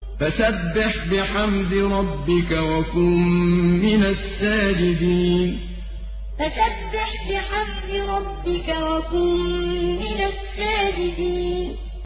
فَسَبِّحْ بِحَمْدِ رَبِّكَ وَكُن مِّنَ السَّاجِدِينَ فَسَبِّحْ بِحَمْدِ رَبِّكَ وَكُن مِّنَ السَّاجِدِينَ